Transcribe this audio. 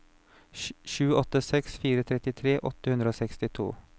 sju åtte seks fire trettitre åtte hundre og sekstito